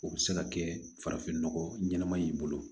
O bɛ se ka kɛ farafinnɔgɔ ɲɛnama in bolo